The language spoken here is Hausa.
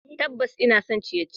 Tabbas, ina son abun ciye-ciye.